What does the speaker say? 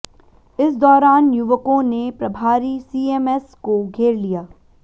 इस दौरान युवकों ने प्रभारी सीएमएस को घेर लिया